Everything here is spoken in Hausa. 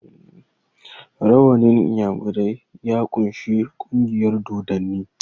rawannin inyamirai ya kunshi kungiyar dodanni